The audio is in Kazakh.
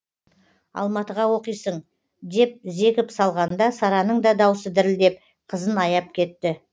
алматыға оқисың деп зекіп салғанда сараның да даусы дірілдеп қызын аяп кетті